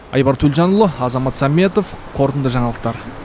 айбар төлжанұлы азамат саметов қорытынды жаңалықтар